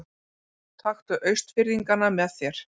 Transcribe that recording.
Taktu Austfirðingana með þér!